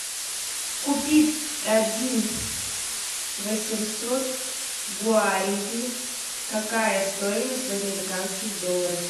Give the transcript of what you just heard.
купить один восемьсот гуариби какая стоимость в американских долларах